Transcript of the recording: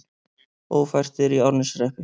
Ófært er í Árneshreppi